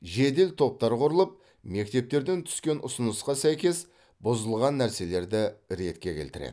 жедел топтар құрылып мектептерден түскен ұсынысқа сәйкес бұзылған нәрселерді ретке келтіреді